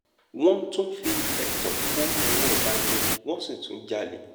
wọ́n tún fi ẹ̀tàn kó owó ọba jẹ wọ́n sì tún jalè